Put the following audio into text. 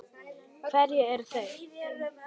Hverjir eru þeir?